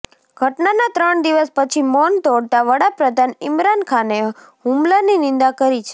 ઘટનાના ત્રણ દિવસ પછી મૌન તોડતા વડાપ્રધાન ઈમરાન ખાને હુમલાની નિંદા કરી છે